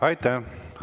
Aitäh!